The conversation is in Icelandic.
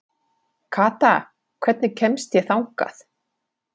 Kata, hvernig kemst ég þangað?